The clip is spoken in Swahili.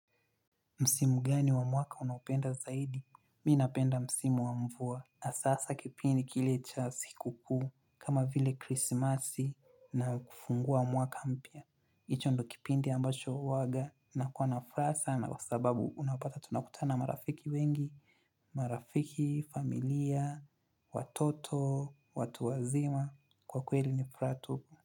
Msimu gani wa mwaka unaopenda zaidi? Mi napenda msimu wa mvua. Hasa kipindi kile cha siku kuu. Kama vile krisimasi na kufungua mwaka mpya. Hicho ndo kipindi ambacho huwaga nakuwa na furaha sana kwa sababu unapata tunakutana naa marafiki wengi. Marafiki, familia, watoto, watu wazima kwa kweli ni furaha tu.